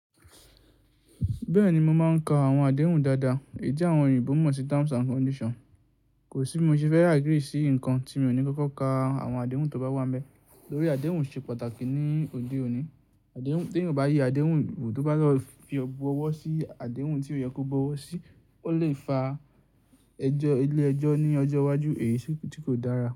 Bẹ́ẹ̀ni mo máa ń ka àwọn àdéhùn dáadáa, èyí tí àwọn òyìnbó mọ̀ sí terms and condition. Kò sí mo ṣe fẹ́ agree sí nǹkan tí mi ò ní kókó ka àwọn àdéhùn tó bá wá nibẹ. Tórí àdéhùn ṣe pàtàkì ní òde òní. Àdéhùn ti eniyan o bá ye àdéhùn wò tó bá lọ fi ọgbọ́ ọwọ́ sí àdéhùn tí ó yẹ kó bọwọ̀ sí, ó lè fa ẹjọ́ ilé ẹjọ́ ní ọjọ́ iwájú èyí sì tí kò dára.